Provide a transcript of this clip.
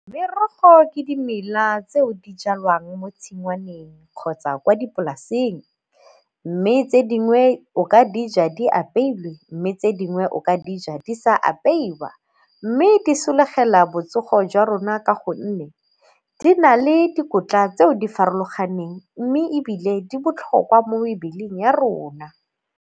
Merogo ke dimela tseo di jalwang mo tshingwaneng kgotsa kwa dipolaseng mme tse dingwe o ka dija di apeilwe, mme tse dingwe o ka dija di sa apeiwa. Mme di sologela botsogo jwa rona ka gonne di na le dikotla tseo di farologaneng mme ebile di botlhokwa mo mebeleng ya rona.